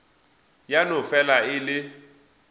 ya no fela e le